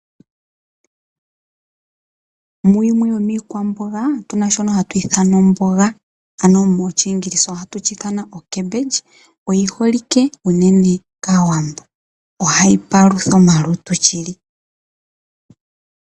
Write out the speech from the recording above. Muyimwe yomiikwamboga otu na shono hatu shi ithana omboga. Oyi holike unene kAawambo. Ohayi palutha omalutu shili.